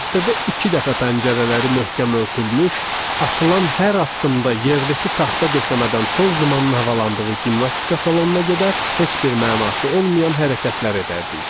Həftədə iki dəfə pəncərələri möhkəm örtülmüş, atılan hər addımda yerdəki taxta döşəmədən toz dumanı havalandığı gimnastika salonuna gedər, heç bir mənası olmayan hərəkətlər edərdik.